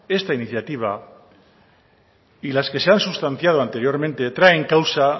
esta iniciativa y las que se han sustanciando anteriormente traen causa